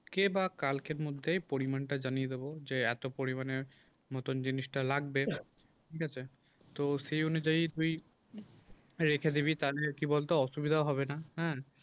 কে বা কালকের মধ্যে পরিমাণটা জানিয়ে দেবো যে এত পরিমাণের নতুন জিনিসটা লাগবে ঠিক আছে তো সেই অনুযায়ী তুই রেখে দিবি তাহলে কি বলতে অসুবিধা হবে না হ্যাঁ